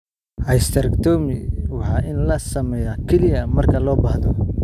Hysterectomy waa in la sameeyaa kaliya marka loo baahdo.